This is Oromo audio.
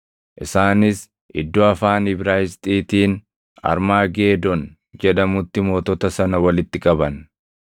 Isaanis iddoo afaan Ibraayisxiitiin Armaageedon jedhamutti mootota sana walitti qaban.